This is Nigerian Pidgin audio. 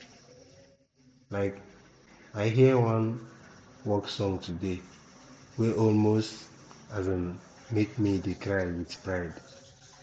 um i hear one work song today wey almost um make me dey cry wit pride